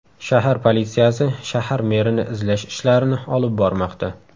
Shahar politsiyasi shahar merini izlash ishlarini olib bormoqda.